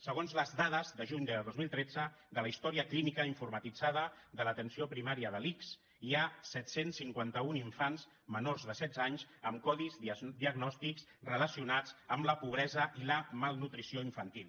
segons les dades de juny de dos mil tretze de la històrica clínica informatitzada de l’atenció primària de l’ics hi ha set cents i cinquanta un infants menors de setze anys amb codis diagnòstics relacionats amb la pobresa i la malnutrició infantil